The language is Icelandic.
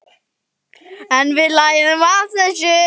En við lærum af þessu.